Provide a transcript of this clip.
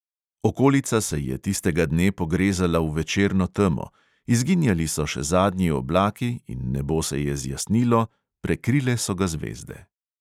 Okolica se je tistega dne pogrezala v večerno temo, izginjali so še zadnji oblaki in nebo se je zjasnilo prekrile so ga zvezde.